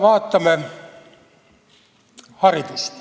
Vaatame haridust.